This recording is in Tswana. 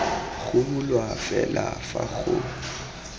go bulwa fela fa go